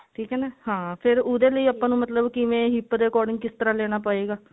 ਠੀਕ ਹੈ ਨਾ ਹਾਂ ਫੇਰ ਉਹਦੇ ਲਈ ਆਪਾਂ ਨੂੰ ਮਤਲਬ ਕਿਵੇਂ hip ਦੇ according ਮਤਲਬ ਕਿਸ ਤਰ੍ਹਾਂ ਲੇਣਾ ਪਏਗਾ